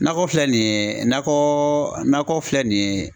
Nakɔ filɛ nin ye nakɔ nakɔ filɛ nin ye